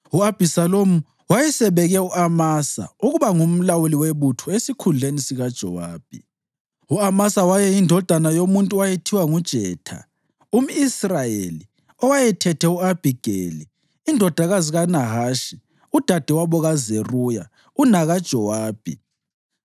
U-Abhisalomu wayesebeke u-Amasa ukuba ngumlawuli webutho esikhundleni sikaJowabi. U-Amasa wayeyindodana yomuntu owayethiwa nguJetha, umʼIsrayeli owayethethe u-Abhigeli indodakazi kaNahashi udadewabo kaZeruya unakaJowabi.